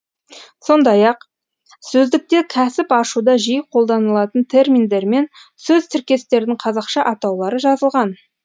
сондай ақ сөздікте кәсіп ашуда жиі қолданылатын терминдер мен сөз тіркестердің қазақша атаулары жазылған